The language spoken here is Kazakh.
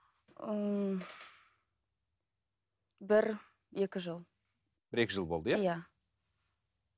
ыыы бір екі жыл бір екі жыл болды иә иә